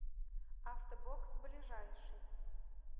авто бокс ближайший